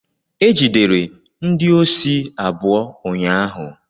Egidere ndị osi abụọ ụnyaahụ.